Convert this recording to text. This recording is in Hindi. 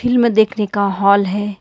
फिल्म देखने का हाल है।